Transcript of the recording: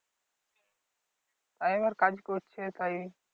এর কাজ করছে তাই